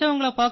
तमिल में जवाब